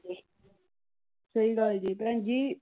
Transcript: ਸਹੀ ਗੱਲ ਜੇ ਭੈਣ ਜੀ।